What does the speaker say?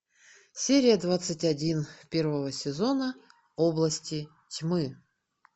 серия двадцать один первого сезона области тьмы